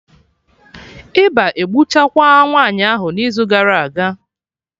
Ịba egbuchakwaa nwaanyị ahụ n'izu gara aga